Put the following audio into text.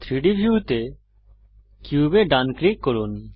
3ডি ভিউতে কিউবে ডান ক্লিক করুন